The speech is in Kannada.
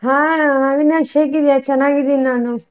ಹಾ ಅವಿನಾಶ್ ಹೇಗಿದಿಯಾ? ಚೆನ್ನಾಗಿದಿನಿ ನಾನು.